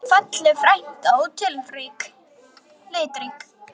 Falleg frænka og litrík.